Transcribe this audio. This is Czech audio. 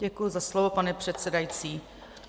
Děkuji za slovo, pane předsedající.